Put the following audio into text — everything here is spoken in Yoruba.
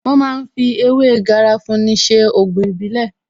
Wón ma ń fi ewé Garafuni ṣe Ògùn ìbílẹ̀